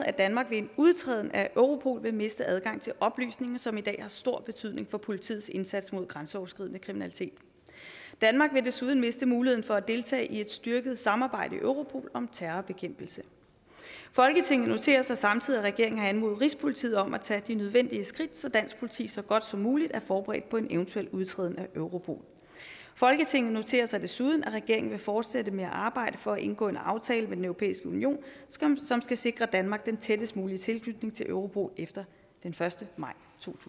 at danmark ved en udtræden af europol vil miste adgang til oplysninger som i dag har stor betydning for politiets indsats mod grænseoverskridende kriminalitet danmark vil desuden miste muligheden for at deltage i et styrket samarbejde i europol om terrorbekæmpelse folketinget noterer sig samtidig at regeringen har anmodet rigspolitiet om at tage de nødvendige skridt så dansk politi så godt som muligt er forberedt på en eventuel udtræden af europol folketinget noterer sig desuden at regeringen vil fortsætte med at arbejde for at indgå en aftale med den europæiske union som skal sikre danmark den tættest mulige tilknytning til europol efter den første maj